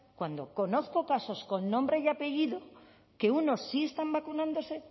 cuando conozco casos con nombre y apellido que unos sí están vacunándose